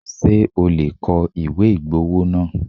Ṣé o lè kọ ìwé ìgbowó náà?